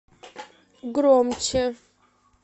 громче